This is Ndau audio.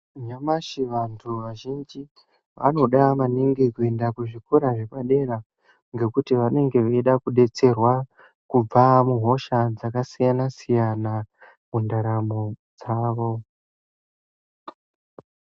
Nyamashi vantu vazhinji vanoda maningi kuenda kuzvikora zvepadera. Ngekuti vanenge veida kubetserwa kubva muhosha dzakasiyana-siyana, mundaramo dzavo.